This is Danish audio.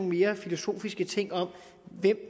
mere filosofiske ting om hvem